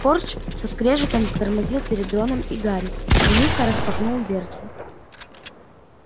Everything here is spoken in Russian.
фордч со скрежетом затормозил перед роном и гарри и лихо распахнул дверцы